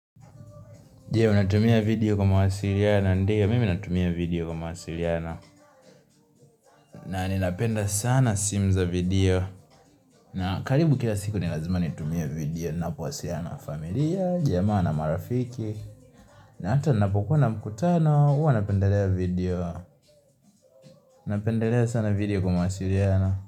Je unatumia video kwa mawasiliano, ndio mimi natumia video kwa mawasiliano na ninapenda sana simu za video na karibu kila siku ni lazima nitumie video Ninapowasiliana nafamilia, jamaa na marafiki na hata ninapokuwa na mkutano, huwa napendelea video Napendelea sana video kwa mawasiliano.